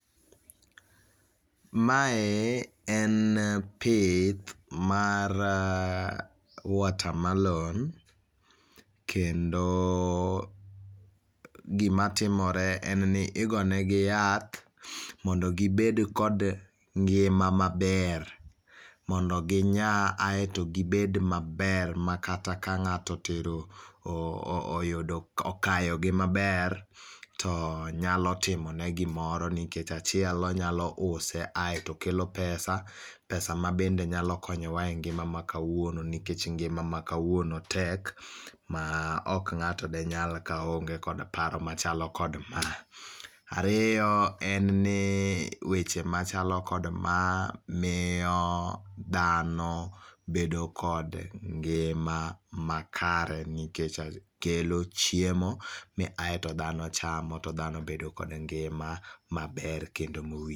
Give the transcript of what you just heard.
Mae en pith mar uh watermelon, kendo oh gima timore en ni igonegi yath mondo gibed kod ngima maber, mondo ginyaa aeto gibed maber makata ka ng'ato otero oh oh oyudo ok okayogi maber, to nyalo timone gimoro nikech achiel, onyalo use aeto kelo pesa, pesa mabende nyalo konyowa e ngima ma kawuono nikech ngima ma kawuono tek, ma ok ng'ato denyal ka oonge kod paro machalo kod ma. Ario en ni weche machalo kod ma mio dhano bedo kod ngima makare nikech a kelo chiemo mi ae to dhano chamo aeto dhano bedo kod ngima maber kendo mowi.